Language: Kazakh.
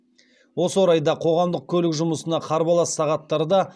осы орайда қоғамдық көлік жұмысына қарбалас сағаттарда